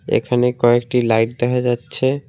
এখানে কয়েকটি লাইট দেখা যাচ্ছে।